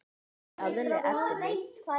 Skaðleg efni.